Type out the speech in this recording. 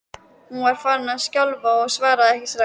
Hún var farin að skjálfa og svaraði ekki strax.